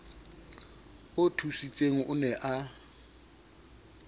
o thusitseng o ne a